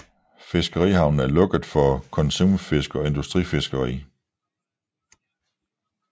Fiskerihavnen er lukket for konsumfisk og industrifiskeri